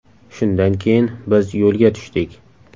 Shundan keyin biz yo‘lga tushdik.